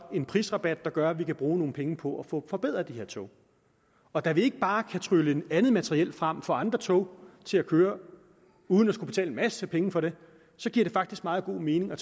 en prisrabat der gør at vi kan bruge nogle penge på at få forbedret de her tog og da vi ikke bare kan trylle andet materiel frem og få andre tog til at køre uden at skulle betale en masse penge for det giver det faktisk meget god mening at